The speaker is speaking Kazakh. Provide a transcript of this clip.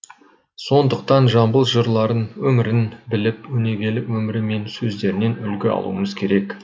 сондықтан жамбыл жырларын өмірін біліп өнегелі өмірі мен сөздерінен үлгі алуымыз керек